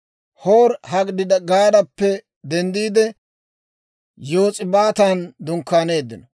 Hoori-Hagidigaadappe denddiide, Yos'ibaatan dunkkaaneeddino.